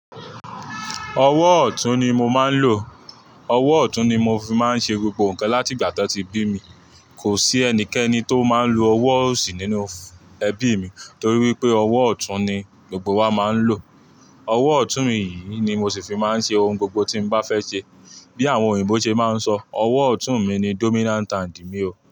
Ọwọ́ ọ̀tún ni mo máa ń lò. Ọwọ́ ọ̀tún ni mo fi máa ń ṣe gbogbo nǹkan láti ìgbà tí wọ́n ti bí mi. Kò sí ẹnikẹ́ni tó máa ń lo ọwọ́ òsì nínú ẹbí mi torí wípé ọwọ́ ọ̀tún ni gbogbo wa máa ń lò. Ọwọ́ ọ̀tún mi yìí ni mo sì fi máa ń ṣe ohun gbogbo tí mo bá fẹ́ ṣe. Bí àwọn òyìnbó ṣe máa ń sọ, ọwọ́ ọ̀tún mi ni dominant hand mi o.